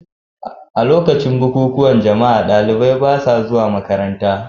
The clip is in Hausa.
A lokacin bukukuwan jama'a, ɗalibai ba sa zuwa makaranta.